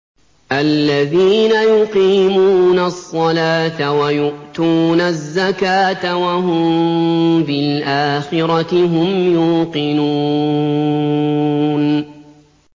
الَّذِينَ يُقِيمُونَ الصَّلَاةَ وَيُؤْتُونَ الزَّكَاةَ وَهُم بِالْآخِرَةِ هُمْ يُوقِنُونَ